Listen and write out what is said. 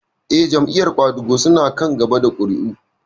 Eh, Jam'iyar ƙwadago su na kan gaba da ƙuri'u